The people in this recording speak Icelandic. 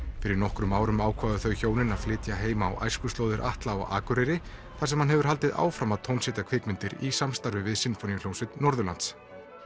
fyrir nokkrum árum ákváðu þau hjónin að flytja heim á æskuslóðir Atla á Akureyri þar sem hann hefur haldið áfram að kvikmyndir í samstarfi við Sinfóníuhljómsveit Norðurlands